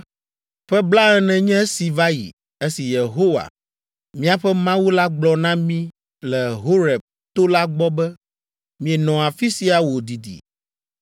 Ƒe blaene nye esi va yi, esi Yehowa, míaƒe Mawu la gblɔ na mí le Horeb to la gbɔ be, “Mienɔ afi sia wòdidi.